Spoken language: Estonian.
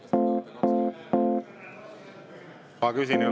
Kas vajate kahte minutit?